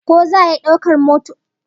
Ko za'a iya daukar dabbobin gida a motar haya?